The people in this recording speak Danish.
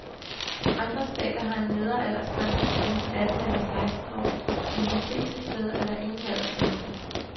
Andre stater har en nedre aldersgrænse på enten atten eller seksten år, men de fleste steder er der ingen aldersgrænse.